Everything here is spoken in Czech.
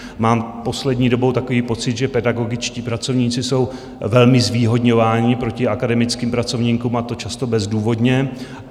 Mám poslední dobou takový pocit, že pedagogičtí pracovníci jsou velmi zvýhodňování proti akademickým pracovníkům, a to často bezdůvodně.